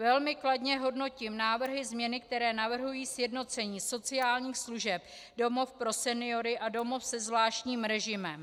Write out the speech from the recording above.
Velmi kladně hodnotím návrhy změny, které navrhují sjednocení sociálních služeb domov pro seniory a domov se zvláštním režimem.